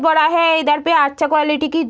बड़ा है इधर पे आच्छा क्वालिटी की --